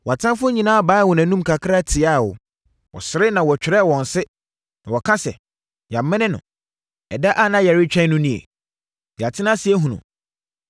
Wʼatamfoɔ nyinaa baeɛ wɔn anom kakraa tia wo; wɔsere na wɔtwɛre wɔn se na wɔka sɛ, “Yɛamene no. Ɛda a na yɛretwɛn no nie; Yɛatena ase ahunu.”